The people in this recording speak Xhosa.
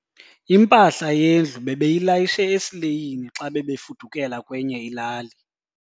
Impahla yendlu bebeyilayishe esileyini xa bebefudukela kwenye ilali.